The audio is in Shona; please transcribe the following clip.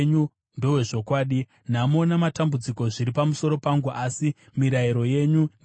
Nhamo namatambudziko zviri pamusoro pangu, asi mirayiro yenyu ndiwo mufaro wangu.